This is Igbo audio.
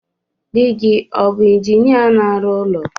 Dị gị o bu injinia na-arụ ụlọ